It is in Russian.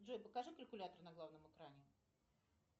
джой покажи калькулятор на главном экране